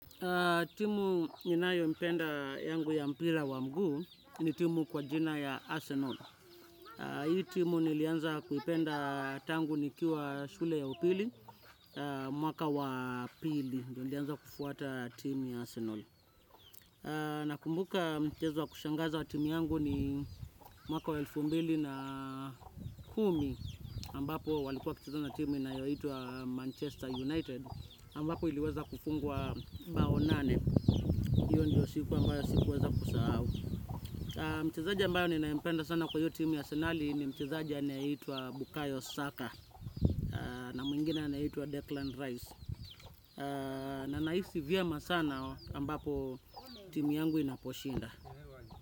Timu ninayopenda yangu ya mpira wa mguu ni timu kwa jina ya Arsenal. Hii timu nilianza kuipenda tangu nikiwa shule ya upili, mwaka wa pili. Ndiyo nilianza kufuata timu ya Arsenal. Nakumbuka mchezo wa kushangaza wa timu yangu ni mwaka wa elfu mbili na kumi ambapo walikuwa wakicheza na timu inayoitwa Manchester United. Ambapo iliweza kufungwa bao nane. Hiyo ndio siku ambayo sikuweza kusahau. Mchezaji ambaye ninayempenda sana kwa hiyo timu ya Arsenali ni mchezaji anayeitwa Bukayo Saka. Mwingine anaitwa Declan Rice. Na nahisi vyema sana ambapo timu yangu inaposhinda.